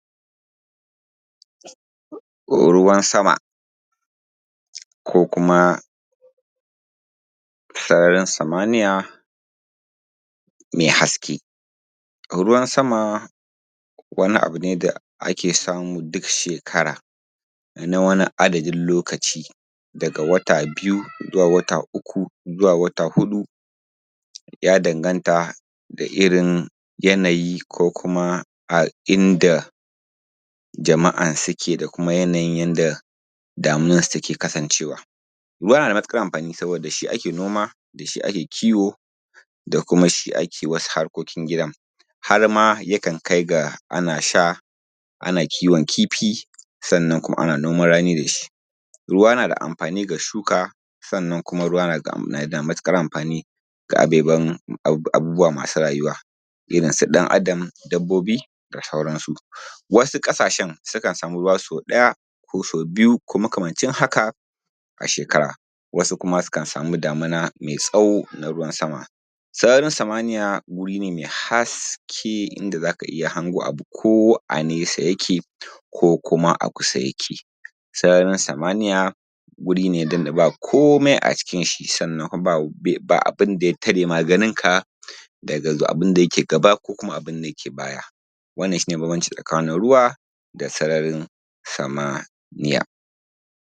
Ruwan sama, ko kuma sararin samaniya mai haskee.. Ruwan sama wani abu ne da ake samu duk shekara, na wani adadin lokaci daga wata biyu zuwa wata uku zuwa wata huɗu, ya dangantaa irin yanayi ko kuma a inda jama’a sukee da kumaa yanayin yadda damuwarsu takee kasancewa. Ruwa na da matuƙar amfani saboda da shi ake noma ake kiwo da kumaa shi akee wasu harkokin gidan, har ma yakan kai ga ana sha, ana kiwon kifi sannan kumaa ana noman ranii da shi. Ruwa na da amfanii ga shuka sannan kumaa ruwa na da amfanii ga abeban, abubuwa masu rayuwa, irinsu ɗan-adam, dabbobi da sauransu. Wasu ƙasashen sukan samuu ruwa sau ɗaya ko sau biyu ko makamancin haka da sauransu. Wasu kumaa sukan samuu damuna mai tsawo na ruwan-sama. Sararin samaniya wuri nee mai haske inda zaa ka iya hango abu ko a nesa yakee ko kumaa a kusa yakee. Sararin samaniya wuri nee inda baa komai a ʧikin ʃshi, sannan baa abin da ja tare ma ganinka daga abin da yakee gaba ko yakee baya, wannan shi nee bambanci tsakanin ruwa da kumaa sararin samaniya.